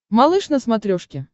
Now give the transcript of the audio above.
малыш на смотрешке